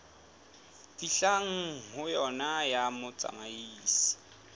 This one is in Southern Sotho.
fihlwang ho yona ya mohlahisi